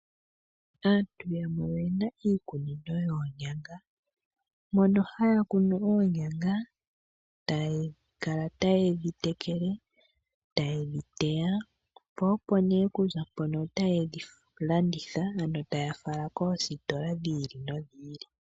Aantu yamwe oyena iikunino yoonyanga, mono haya kunu oonyanga, taya kala taye dhi tekele, tayedhi teya, po opo nee okuza mpono otayedhi landitha, ano taya fala koositola dhi ili nodhi ili.